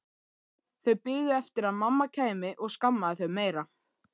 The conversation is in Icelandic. Þau biðu eftir að mamma kæmi og skammaði þau meira.